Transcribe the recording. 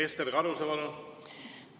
Ester Karuse, palun!